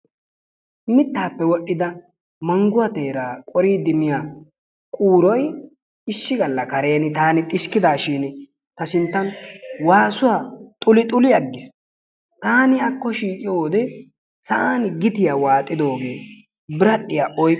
Mitaappe wodhida manguwaa teeraa qoridi miya quuroy issi gala karen taani xiskkidaashin ta sintan waasuwa xuluxuli agiis. Taani akko shiiqiyo wode sa'an gittiya waaxidoogee biradhiya oy..